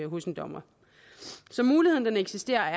hos en dommer så muligheden eksisterer